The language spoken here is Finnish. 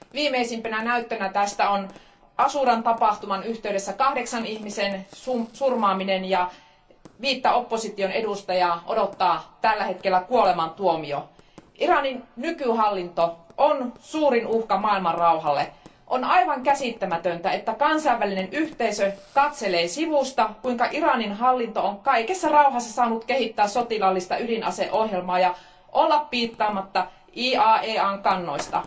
Viimeisimpänä näyttönä tästä on Ashuran tapahtuman yhteydessä kahdeksan ihmisen surmaaminen, ja viittä opposition edustajaa odottaa tällä hetkellä kuolemantuomio. Iranin nykyhallinto on suurin uhka maailmanrauhalle. On aivan käsittämätöntä, että kansainvälinen yhteisö katselee sivusta, kuinka Iranin hallinto on kaikessa rauhassa saanut kehittää sotilaallista ydinaseohjelmaa ja olla piittaamatta IAEAn kannoista.